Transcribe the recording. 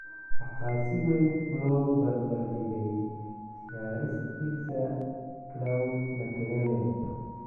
Waxaa si weyn loo barbardhigay ciyaaristiisa Claude Makélélé.